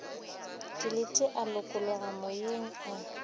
dilete a lokologa moyeng a